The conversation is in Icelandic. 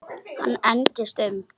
Hann engdist um.